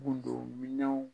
Mun don minenw